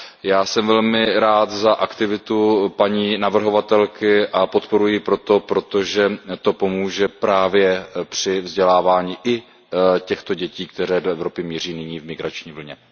Já jsem velmi rád za aktivitu paní navrhovatelky a podporuji ji proto, že to pomůže právě při vzdělávání i těchto dětí, které do Evropy míří nyní v migrační vlně.